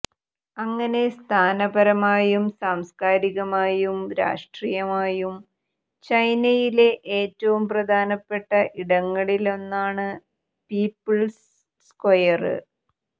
അങ്ങനെ സ്ഥാനപരമായും സാംസ്കാരികമായും രാഷ്ട്രീയമായും ചൈനയിലെ ഏറ്റവും പ്രധാനപ്പെട്ട ഇടങ്ങളിലൊന്നാണ് പീപ്പിള്സ് സ്ക്വയര്